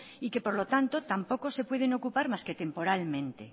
y que por lo tanto tampoco se pueden ocupar más que temporalmente